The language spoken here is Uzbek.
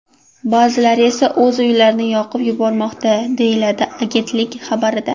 Ba’zilar esa o‘z uylarini yoqib yubormoqda”, deyiladi agentlik xabarida.